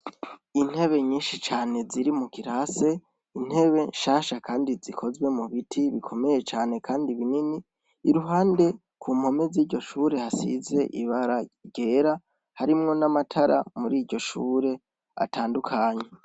Intebe nyinshi cane ziri mu kirase intebe nshasha, kandi zikozwe mu biti bikomeye cane, kandi binini iruhande ku mpome z'iryo shure hasize ibara ryera harimwo n'amatara muri iryo shure atandukanye.